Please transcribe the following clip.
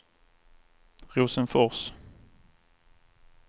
Rosenfors